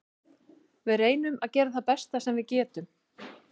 Við reynum að gera það besta sem við getum.